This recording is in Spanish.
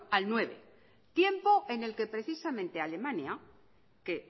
al nueve tiempo en el que precisamente alemania que